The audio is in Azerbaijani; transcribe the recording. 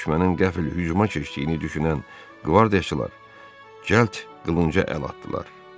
Düşmənin qəfil hücuma keçdiyini düşünən qvardiyaçılar cəld qılınca əl atdılar.